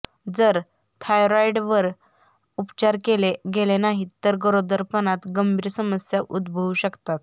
जर थायरॉईडवर उपचार केले गेले नाहीत तर गरोदरपणात गंभीर समस्या उद्भवू शकतात